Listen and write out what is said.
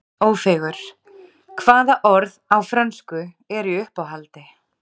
Ófeigur: Hvaða orð á frönsku eru í uppáhaldi?